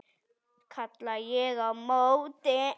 kalla ég á móti.